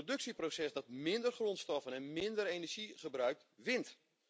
Een productieproces dat minder grondstoffen en minder energie gebruikt wint.